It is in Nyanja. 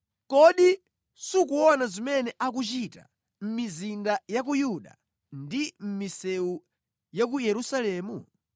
Kodi sukuona zimene akuchita mʼmizinda ya ku Yuda ndi mʼmisewu ya ku Yerusalemu?